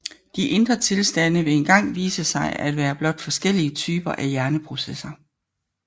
De indre tilstande vil engang vise sig at være blot forskellige typer af hjerneprocesser